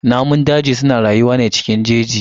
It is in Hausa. Namun daji suna rayuwa ne cikin jeji.